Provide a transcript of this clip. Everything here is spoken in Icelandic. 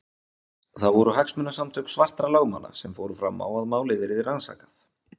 Það voru hagsmunasamtök svartra lögmanna sem fóru fram á að málið yrði rannsakað.